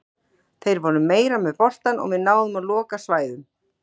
Þeir voru meira með boltann og við náðum að loka svæðum.